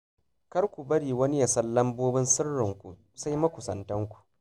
Kar ku bari wani ya san lambobin sirrinku sai makusantanku